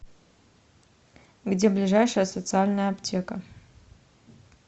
где ближайшая социальная аптека